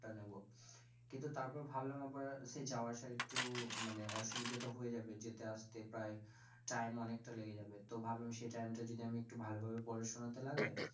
টা নেব কিন্তু তারপর ভাবলাম আবার সেই যাওয়া আসার একটু মানে অসুবিধা টা হয়ে যাবে যেতে আসতে প্রায় time অনেকটা লেগে যাবে, তো ভাবলাম সেই time টা যদি ভালো ভাবে পড়াশোনা তে লাগাই